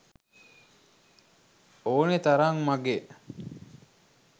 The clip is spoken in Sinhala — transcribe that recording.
ඕනෙ තරං මගෙ